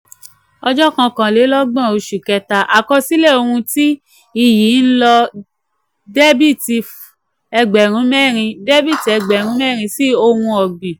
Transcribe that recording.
ojo kokanlelogbon àkọsílẹ̀ ohun tí iyì ń lọ debiti egberun merin debiti egerun merin sí ohun ọ̀gbìn.